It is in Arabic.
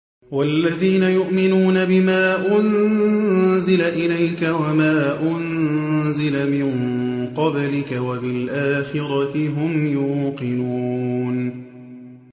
وَالَّذِينَ يُؤْمِنُونَ بِمَا أُنزِلَ إِلَيْكَ وَمَا أُنزِلَ مِن قَبْلِكَ وَبِالْآخِرَةِ هُمْ يُوقِنُونَ